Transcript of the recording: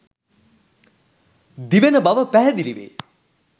දිවෙන බව පැහැදිලි වේ.